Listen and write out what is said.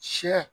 Sɛ